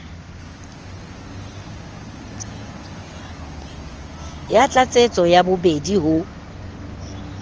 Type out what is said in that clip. ya tlatsetso ya bobedi ho